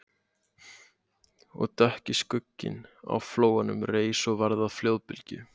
Og dökki skugginn á flóanum reis og varð að flóðbylgju